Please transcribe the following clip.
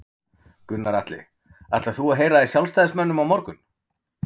Gunnar Atli: Ætlar þú að heyra í sjálfstæðismönnum á morgun?